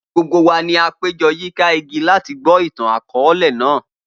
Gbogbo wa ni a pejọ yika igi lati gbọ itan-akọọlẹ kan